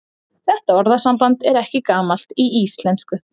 Þetta orðasamband er ekki gamalt í íslensku.